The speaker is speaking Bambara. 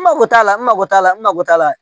N mako t'a la n mako t'a la n mako t'a la